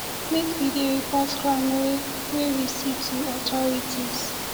make we dey report crime wey wey we see to authorities